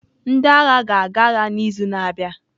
Ndị agha ga-aga agha n'izu na-abịa.